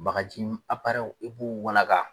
Bagaji i b'u walaga